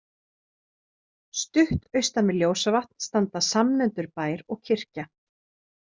Stutt austan við Ljósavatn standa samnefndur bær og kirkja.